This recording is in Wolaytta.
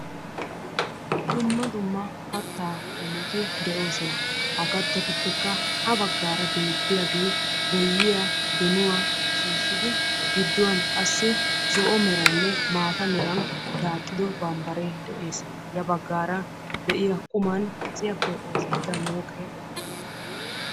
Dumma dumma kattaa qommoti de'oosona. Ha kattatuppekka ha baggaara beettiyagee boyyiya, donuwa shiishshidi zo'o meraaninne maata meran daaxxido barbbaree de'es. Ya baggaara de'iya kaciyappe oosettida mooqee eqqis.